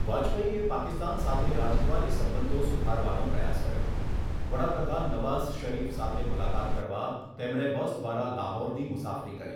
વાજપેયીએ પાકિસ્તાન સાથે રાજદ્વારી સંબંધો સુધારવાનો પ્રયાસ કર્યો, વડાપ્રધાન નવાઝ શરીફ સાથે મુલાકાત કરવા તેમણે બસ દ્વારા લાહોરની મુસાફરી કરી.